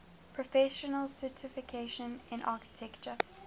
professional certification in architecture